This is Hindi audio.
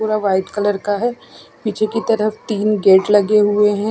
पूरा वाइट कलर का है पीछे की तरफ तीन गेट लगे हुए है।